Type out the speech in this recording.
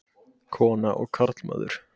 Kona og karlmaður.